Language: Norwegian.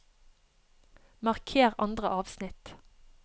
Marker andre avsnitt